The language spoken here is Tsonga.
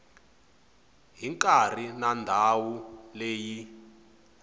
hi nkarhi na ndhawu leyi